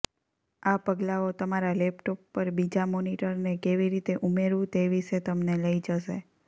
આ પગલાંઓ તમારા લેપટોપ પર બીજા મોનિટરને કેવી રીતે ઉમેરવું તે વિશે તમને લઈ જશે